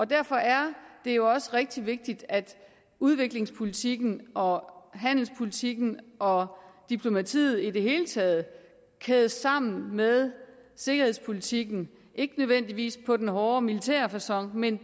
derfor er det jo også rigtig vigtigt at udviklingspolitikken og handelspolitikken og diplomatiet i det hele taget kædes sammen med sikkerhedspolitikken ikke nødvendigvis på den hårde militære facon men